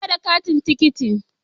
Na manta da farashin tikitin.